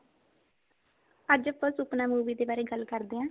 ਅੱਜ ਆਪਾ ਸੁਫਨਾ movie ਦੇ ਬਾਰੇ ਗੱਲ ਕਰਦੇ ਹਾਂ